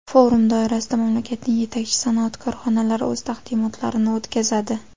Forum doirasida mamlakatning yetakchi sanoat korxonalari o‘z taqdimotlarini o‘tkazadi.